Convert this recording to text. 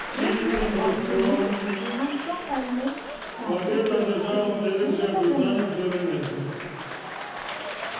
range में all चुनें जैसे कि हम draw file में सारे पेजेस को pdf में बदल रहे हैं